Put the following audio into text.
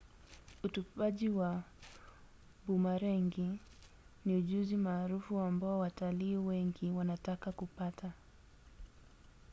utupaji wa bumarengi ni ujuzi maarufu ambao watalii wengi wanataka kupata